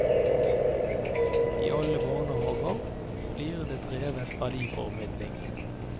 I alle barnehager blir det drevet verdiformidling.